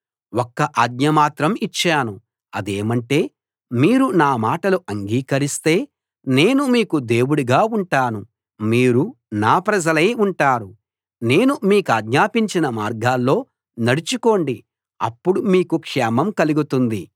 ఒక్క ఆజ్ఞ మాత్రం ఇచ్చాను అదేమంటే మీరు నా మాటలు అంగీకరిస్తే నేను మీకు దేవుడుగా ఉంటాను మీరు నా ప్రజలై ఉంటారు నేను మీకాజ్ఞాపించిన మార్గాల్లో నడుచుకోండి అప్పుడు మీకు క్షేమం కలుగుతుంది